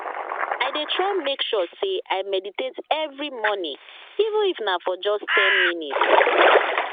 i dey try make sure say i meditate every morning even if na for just ten minutes